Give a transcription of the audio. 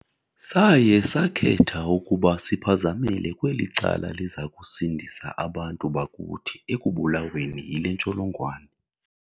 Saye sakhetha ukuba siphazamele kweli cala liza kusindisa abantu bakuthi ekubulaweni yile ntsholongwane.